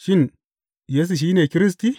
Shin, Yesu shi ne Kiristi?